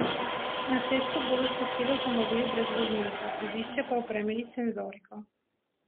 Na cesto bodo spustili avtomobil brez voznika, vozišče pa opremili s senzoriko.